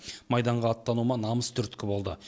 майданға аттануыма намыс түрткі болды